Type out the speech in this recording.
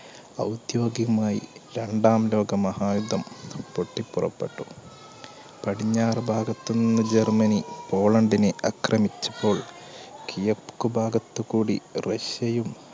ഔദ്യോഗികമായി രണ്ടാം ലോകമഹായുദ്ധം പൊട്ടി പുറപ്പെട്ടു. പടിഞ്ഞാറ് ഭാഗത്തുനിന്ന് ജർമ്മനി പോളണ്ടിനെ അക്രമിച്ചപ്പോൾ കിഴക്കു ഭാഗത്തുകൂടി റഷ്യയും